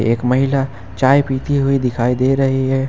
एक महिला चाय पीती हुई दिखाई दे रही है।